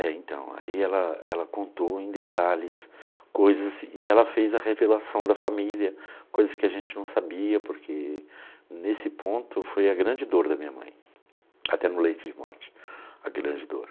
É, então, aí ela ela contou em detalhes coisas, e ela fez a revelação da família, coisas que a gente não sabia, porque nesse ponto foi a grande dor da minha mãe, até no leito de morte, a grande dor.